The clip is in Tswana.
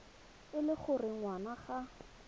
e le gore ngwana ga